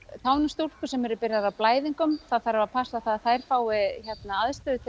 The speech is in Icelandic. táningsstúlkur sem eru byrjaðar á blæðingum það þarf að passa að þær fái aðstöðu til